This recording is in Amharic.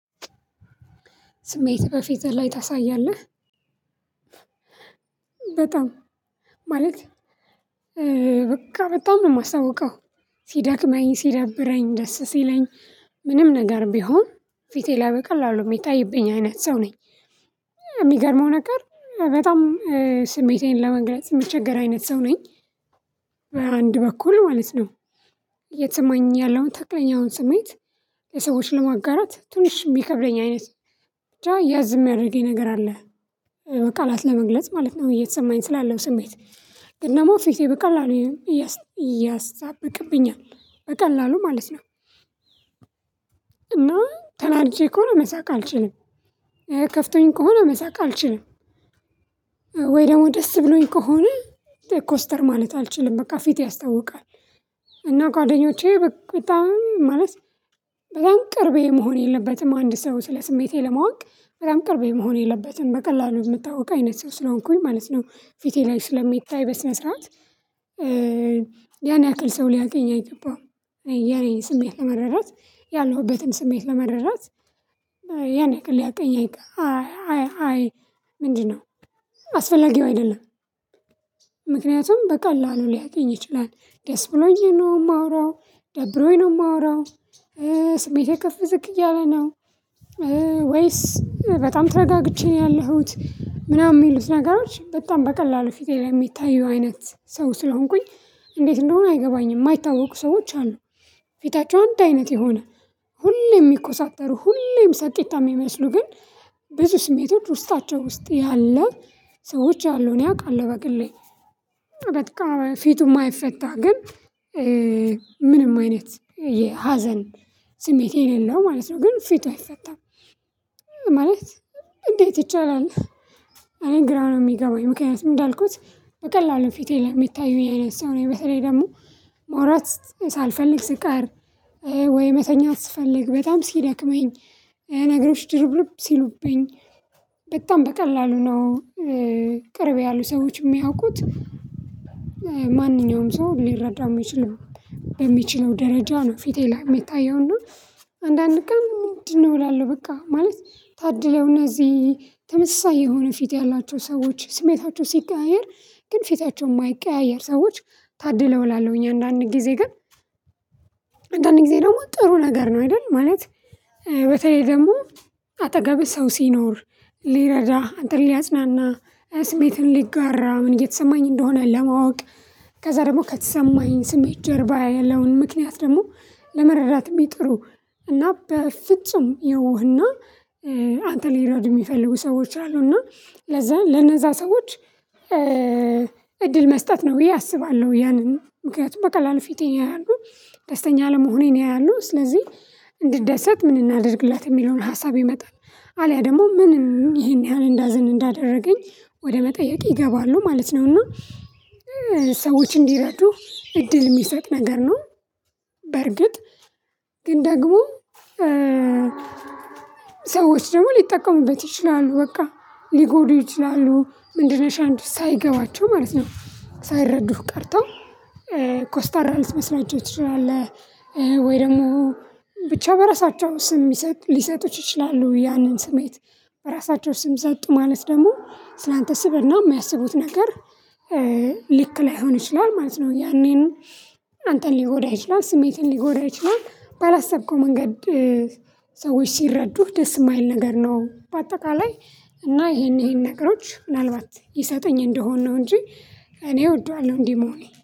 ስሜት በፊት ላይ ታሳያለህ በጣም ማለት በቃ በጣም ነው የማሳውቀው ሲዳክመኝ ሲደብረኝ ደስ ሲለኝ ምንም ነገር ቢሆን ፊቴ ላይ በቀላሉ የሚታይብኝ አይነት ሰው ነኝ። የሚገርመው ነገር በጣም ስሜቴን ለመግለጽ የምቸገር አይነት ሰው ነኝ። በአንድ በኩል ማለት ነው እየተሰማኝ ያለውን ተክለኛውን ስሜት ለሰዎች ለማጋራት ትንሽ የሚከብደኝ አይነት ያዝ ያድርገኝ ነገር አለ በቃላት ለመግለጽ ማለት ነው እየተሰማኝ ስላለው ስሜት ግን እና ደግሞ ፊቴ በቀላሉ እያሳበቅብኛል በቀላሉ ማለት ነው። እና ተናድጄ ከሆነ መሳቅ አልችልም። ከፍቶኝም ከሆነ መሳቅ አልችልም። ወይ ደግሞ ደስ ብሎኝ ከሆነ ኮስተር ማለት አልችልም በቃ ፊት ያስታውቃል። ጓደኞቼ በጣም ማለት በጣም ቅርቤ መሆን የለበትም አንድ ሰው ስለ ስሜቴ ለማወቅ በጣም ቅርቤ መሆን የለበትም በቀላሉ የምታውቅ አይነት ሰው ስለሆንኩኝ ማለት ነው። ፊቴ ላይ ስለሚታይ በስነ ስርዓት ያን ያክል ሰው ሊያቀኝ አይገባም። የኔን ስሜት ለመረዳት ያለሁበትን ስሜት ለመረዳት ያኔ ያክል ሊያቀኝ አይገ አይ አይ ምንድነው አስፈላጊው አይደለም። ምክንያቱም በቃላሉ ሊያቀኝ ይችላል ደስ ብሎኝ ነው የማወራው ደብሮኝ ነው የማወራው ስሜቴ ከፍ ዝቅ እያለ ነው። ወይስ በጣም ተረጋግቼ ነው ያለሁት ምናምን የሚሉት ነገሮች በጣም በቀላሉ ፊቴ ላይ የሚታየው ሰው ስለሆንኩኝ እንዴት እንደሆነ አይገባኝም? የማይታወቁ ሰዎች አሉ ፊታቸው አንድ አይነት የሆነ ሁሌም የሚኮሳተሩ ሁሌም ሳቂጣ የሚመስሉ ግን ብዙ ስሜቶች ውስጣቸው ውስጥ ያለ ሰዎች አሉ። እኔ አውቃለሁ በቅሌ በቃ ፊቱ እማይፈታ ግን አይነት የሀዘን ስሜት የሌለው ማለት ነው ግን ፊቱ አይፈታም። ማለት እንዴት ይቻላል አኔን ግራ ነው የሚገባኝ ምክንያቱም እንዳልኩት በቀላሉ ፊቴ ለሚታዩኝ አይነት ሰው ነኝ። በተለይ ደግሞ ማውራት ሳልፈልግ ስቀር ወይ መተኛት ስፈልግ በጣም ሲደክመኝ ነገሮች ድርብርብ ሲሉብኝ በጣም በቀላሉ ነው ቅርብ ያሉ ሰዎች የሚያውቁት ማንኛውም ሰው ሊረዳው የሚችለው በሚችለው ደረጃ ነው። ፊቴ ላይ የሚታየው እና አንዳንድ ቀን ምንድነው እላለሁ በቃ ማለት ታድለው እነዚህ ተመሳሳይ የሆነ ፊት ያላቸው ሰዎች ስሜታቸው ሲቀያየር ግን ፊታቸው የማይቀያየር ሰዎች ታድለው እላለሁኝ አንዳንድ ጊዜ ግን። አንዳንድ ጊዜ ደግሞ ጥሩ ነገር ነው አይደል ማለት በተለይ ደግሞ አጠገብህ ሰው ሲኖር ሊረዳ አንተን ሊያጽናና ስሜትን ሊጋራ ምን እየተሰማኝ እንደሆነ ለማወቅ ከዛ ደግሞ ከተሰማኝ ስሜት ጀርባ ያለውን ምክንያት ደግሞ ለመረዳት የሚጥሩ እና በፍጹም የዋህና አንተን ሊረዱ የሚፈልጉ ሰዎች አሉ እና ለዛ ለነዛ ሰዎች እድል መስጠት ነው ብዬ አስባለሁ። ያንን ምክንያቱም በቀላል ፊቴን ያያሉ ደስተኛ አለመሆኔን ያያሉ ስለዚህ እንድደሰት ምን እናድርግላት የሚለውን ሀሳብ ይመጣል አልያ ደግሞ ምንም ይሄን ያህል እንዳዝን እንዳደረገኝ ወደ መጠየቅ ይገባሉ ማለት ነውና ሰዎች እንዲረዱ እድል እሚሰጥ ነገር ነው። በርግጥ ግን ደግሞ ሰዎች ደግሞ ሊጠቀሙበት ይችላሉ በቃ ሊጎዱ ይችላሉ ምንድነሽ አንቺ ሳይገባቸው ማለት ነው። ሳይረዱህ ቀርተው ኮስታራ ልትመስላቸው ትችላለህ። ወይ ደግሞ ብቻ በራሳቸው ስም ሊሰጡት ይችላሉ ያንን ስሜት በራሳቸው ስም ሰጡ ማለት ደግሞ ስላንተ ስብእና የማያስቡት ነገር ልክ ላይሆን ይችላል ማለት ነው። ያኔን አንተን ሊጎዳ ይችላል ስሜትን ሊጎድ ይችላል ባላሰብከው መንገድ። ሰዎች ሲረዱህ ደስ እማይል ነገር ነው በአጠቃላይ እና ይሄን ይሄን ነገሮች ምናልባት ይሰጠኝ እንደሆንን ነው እንጂ እኔ እወደዋለሁ እንዲህ መሆኔ